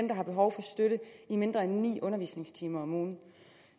der har behov for støtte i mindre end ni undervisningstimer om ugen